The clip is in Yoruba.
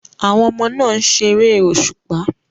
Àwọn ọmọ náà ń ṣeré òṣùpá